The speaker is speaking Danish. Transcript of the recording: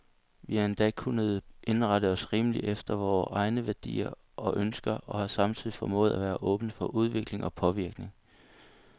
Vi har endda kunnet indrette os rimeligt efter vore egne værdier og ønsker, og har samtidig formået at være åbne for udvikling og påvirkning.